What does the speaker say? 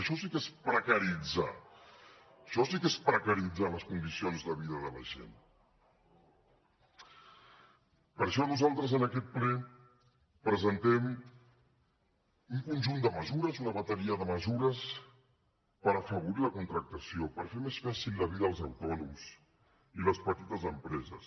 això sí que és precaritzar això sí que és precaritzar les condicions de vida de la gent per això nosaltres en aquest ple presentem un conjunt de mesures una bateria de mesures per afavorir la contractació per fer més fàcil la vida als autònoms i les petites empreses